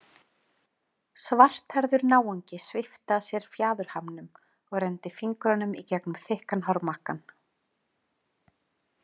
Svarthærður náungi svipti af sér fjaðurhamnum og renndi fingrunum í gegnum þykkan hármakkann.